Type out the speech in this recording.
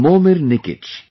Momir Nikich